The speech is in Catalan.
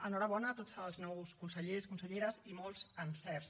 enhorabona a tots els nous consellers conselleres i molts encerts